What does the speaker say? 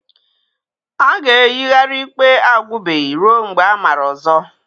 A ga-eyigharị ikpe agwụbeghị ruo mgbe amara ọzọ.